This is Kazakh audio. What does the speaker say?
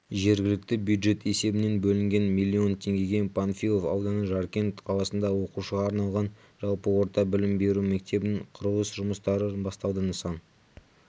жергілікті бюджет есебінен бөлінген млн теңгеге панфилов ауданы жаркент қаласында оқушыға арналған жалпы орта білім беру мектебінің құрылыс жұмыстары басталды нысан